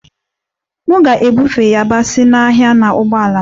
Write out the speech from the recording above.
M ga-ebufe yabasị n'ahịa na ụgbọala m